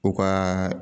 U ka